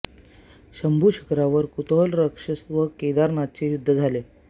शंभू शिखरावर कुतोहल राक्षस व केदारनाथांचे युद्ध झाले